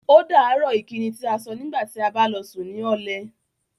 Ódàárọ̀ ìkíni tí à sọ̀ nígbàtí à bá lọ sùn ní ọlẹ̀.